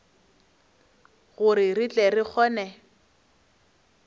gore re tle re kgone